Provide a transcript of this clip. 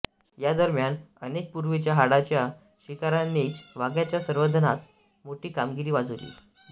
या दरम्यान अनेक पूर्वीच्या हाडाच्या शिकाऱ्यांनीच वाघाच्या संवर्धनात मोठी कामगिरी बजावली